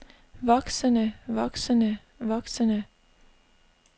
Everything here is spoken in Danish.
voksende voksende voksende